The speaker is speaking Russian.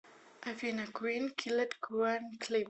афина квин киллер квин клип